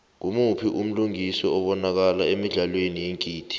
ngumuphi umlingisi obanakala emidlalweni yeengidi